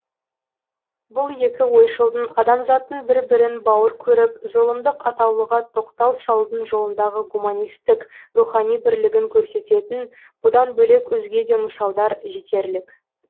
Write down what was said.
бұл екі ойшылдың адамзаттың бір бірін бауыр көріп зұлымдық атаулыға тоқтау салудың жолындағы гуманистік рухани бірлігін көрсететін бұдан бөлек өзге де мысалдар жетерлік